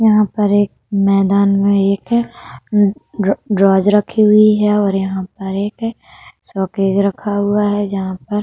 यहाँ पर एक मैंदान में एक रोज रखी हुई है और यहाँ पर एक सॉकेज रखा हुआ है। जहाँ पर --